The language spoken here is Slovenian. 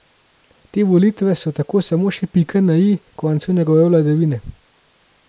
Te volitve so tako samo še pika na i koncu njegove vladavine.